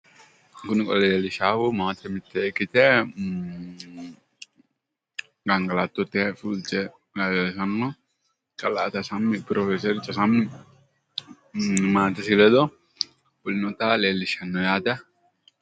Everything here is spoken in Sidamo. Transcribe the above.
Kuni qole leellishaahu maate mittee ikkite gangalattote fulteyota leellishanno kalaa tesemmi profeser tesemmi maatesi ledo fulinota leellishanno yaate.